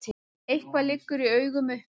Eitthvað liggur í augum uppi